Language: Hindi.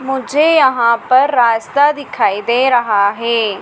मुझे यहां पर रास्ता दिखाई दे रहा है।